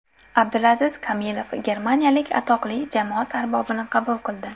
Abdulaziz Kamilov germaniyalik atoqli jamoat arbobini qabul qildi.